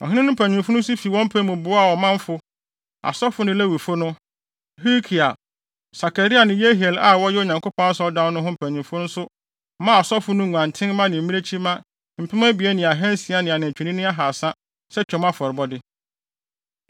Ɔhene no mpanyimfo nso fi wɔn pɛ mu boaa ɔmanfo, asɔfo ne Lewifo no. Hilkia, Sakaria ne Yehiel a wɔyɛ Onyankopɔn Asɔredan no ho mpanyimfo nso maa asɔfo no nguantenmma ne mmirekyimma mpem abien ne ahansia ne anantwinini ahaasa sɛ Twam afɔrebɔde.